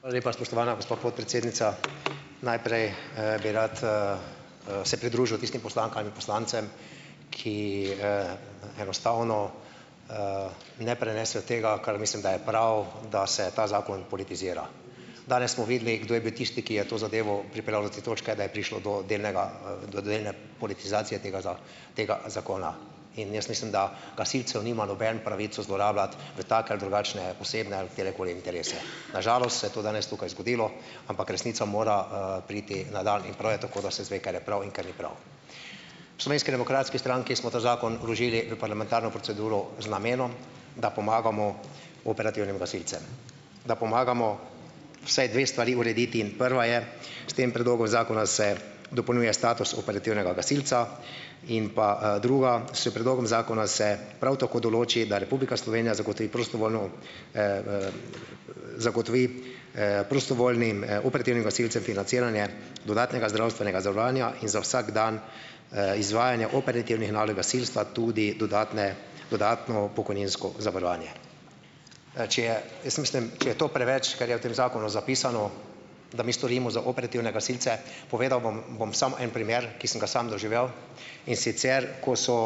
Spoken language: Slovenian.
Hvala lepa, spoštovana gospa podpredsednica. Najprej, bi rad, se pridružil tistim poslankam in poslancem, ki enostavno ne prenesejo tega, kar mislim, da je prav, da se ta zakon politizira. Danes smo videli, kdo je bil tisti, ki je to zadevo pripeljal do te točke, da je prišlo do delne politizacije tega tega zakona. In jaz mislim, da gasilcev nima noben pravico zlorabljati v take ali drugačne, osebne ali katerekoli interese. Na žalost se je to danes tukaj zgodilo, ampak resnica mora, priti na dan in prav je tako, da se izve, kar je prav in kar ni prav. V Slovenski demokratski stranki smo ta zakon vložili v parlamentarno proceduro z namenom, da pomagamo operativnim gasilcem, da pomagamo vsaj dve stvari urediti. In prva je, s tem predlogom zakona se dopolnjuje status operativnega gasilca. In pa, druga, s predlogom zakona se prav tako določi, da Republika Slovenija zagotovi, prostovoljno zagotovi, prostovoljnim, operativnim gasilcem financiranje dodatnega zdravstvenega zavarovanja in za vsak dan, izvajanja operativnih nalog gasilstva tudi dodatne dodatno pokojninsko zavarovanje. Če je, jaz mislim, če je to preveč, kar je v tem zakonu zapisano, da mi storimo za operativne gasilce. Povedal bom, bom samo en primer, ki sem ga samo doživel, in sicer, ko so